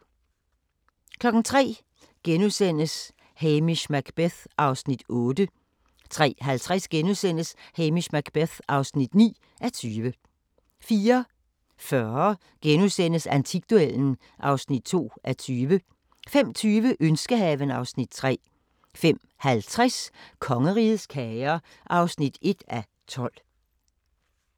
03:00: Hamish Macbeth (8:20)* 03:50: Hamish Macbeth (9:20)* 04:40: Antikduellen (2:20)* 05:20: Ønskehaven (Afs. 3) 05:50: Kongerigets kager (1:12)